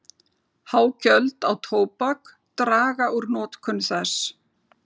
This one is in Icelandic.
Há gjöld á tóbak draga úr notkun þess.